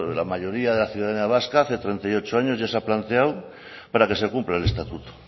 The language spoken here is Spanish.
la mayoría de la ciudadanía vasca hace treinta y ocho años ya se ha planteado para que se cumpla el estatuto